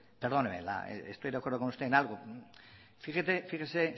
perdóneme estoy de acuerdo con usted en algo fíjese